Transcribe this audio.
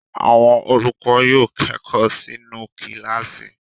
Àwọn olùkọ́ yóò kẹ́kọ̀ọ́ nínú kíláàsì.